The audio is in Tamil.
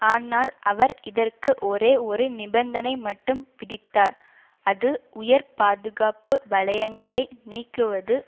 ஆனால் அவர் இதற்கு ஒரே ஒரு நிபந்தனை மட்டும் விதித்தார் அது உயர் பாதுகாப்பு வலையங்களை நீக்குவது